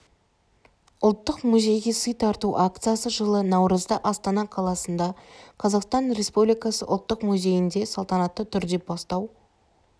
ұлттық музейге сый тарту акциясы жылы наурызда астана қаласында қазақстан республикасы ұлттық музейінде салтанатты түрде бастау